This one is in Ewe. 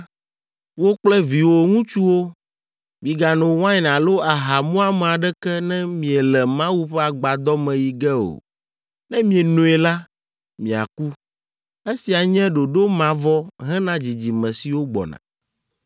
“Wò kple viwò ŋutsuwo, migano wain alo aha muame aɖeke ne miele Mawu ƒe Agbadɔ me yi ge o. Ne mienoe la, miaku. Esia nye ɖoɖo mavɔ hena dzidzime siwo gbɔna.